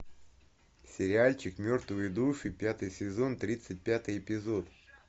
сериальчик мертвые души пятый сезон тридцать пятый эпизод